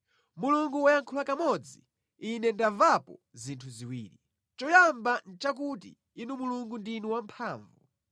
Mulungu wayankhula kamodzi, ine ndamvapo zinthu ziwiri; choyamba nʼchakuti Inu Mulungu ndinu wamphamvu,